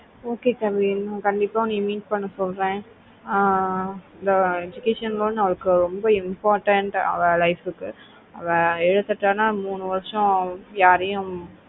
okay kavin உங்கள கண்டிப்பா வந்து meet சொல்லுற ஆஹ் education loan அவருக்கு ரொம்ப important அவ life கு எதுக்கு எடுத்தாலும் அந்த மூணு வருஷம் அவ யாரையும்